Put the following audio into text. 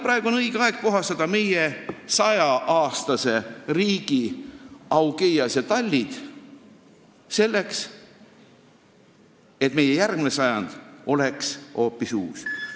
Praegu on õige aeg meie 100-aastase riigi Augeiase tallid puhastada, et meie järgmine sajand oleks hoopis uus.